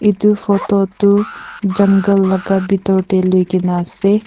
etu photo tu jungle laga bitor de lui gina ase.